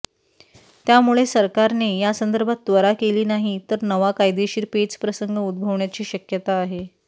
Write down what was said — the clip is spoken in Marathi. त्यामुळे सरकारने यासंदर्भात त्वरा केली नाही तर नवा कायदेशीर पेचप्रसंग उद्भवण्याची शक्यता आहे